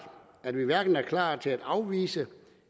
at vi hverken er klar til at afvise